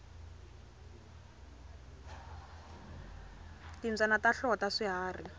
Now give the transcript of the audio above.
timbyana ta hlota swiharhi